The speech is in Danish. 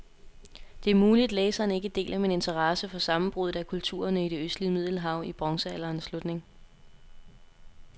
Det er muligt, læseren ikke deler min interesse for sammenbruddet af kulturerne i det østlige middelhav i bronzealderens slutning.